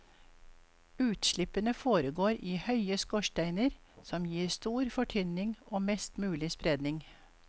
Utslippene foregår i høye skorsteiner som gir stor fortynning og mest mulig spredning.